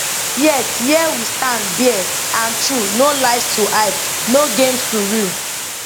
yet here we stand bare and true no lies to hide no games to rue